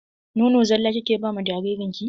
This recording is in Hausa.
Nono zala kike ba ma jaririn ki?